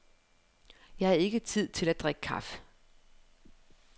Jeg havde ikke tid til at drikke kaffe.